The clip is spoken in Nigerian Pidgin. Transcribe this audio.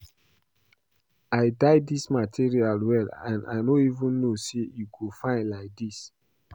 I dye dis material well and I no even know say e go fine like dis